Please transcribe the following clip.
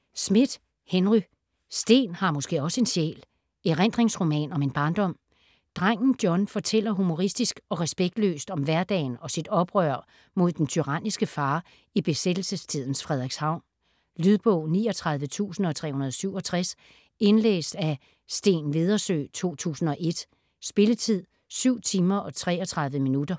Smith, Henry: Sten har måske også en sjæl: erindringsroman om en barndom Drengen John fortæller humoristisk og respektløst om hverdagen og sit oprør mod den tyranniske far i besættelsestidens Frederikshavn. Lydbog 39367 Indlæst af Steen Vedersø, 2001. Spilletid: 7 timer, 33 minutter.